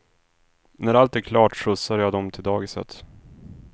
När allt är klart skjutsar jag dem till dagiset.